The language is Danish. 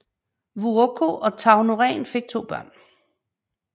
Vuokko og Tauno Rehn fik to børn